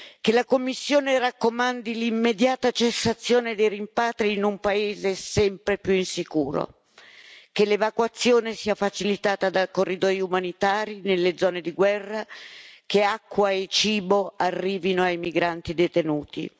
Che la Commissione raccomandi l'immediata cessazione dei rimpatri in un paese sempre più insicuro, che l'evacuazione sia facilitata da corridoi umanitari nelle zone di guerra, che acqua e cibo arrivino ai migranti detenuti.